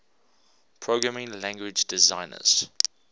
programming language designers